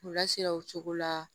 U lasira o cogo la